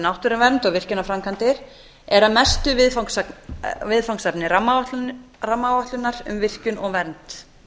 náttúruvernd og virkjanaframkvæmdir eru að mestu viðfangsefni rammaáætlunar um virkjun og vernd